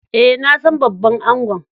Eh, na san babban angon.